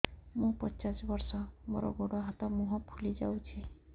ମୁ ପଚାଶ ବର୍ଷ ମୋର ଗୋଡ ହାତ ମୁହଁ ଫୁଲି ଯାଉଛି